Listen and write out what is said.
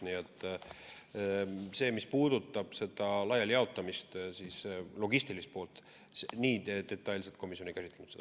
Nii et mis puudutab laialijagamist, logistilist poolt, seda komisjon detailselt ei käsitlenud.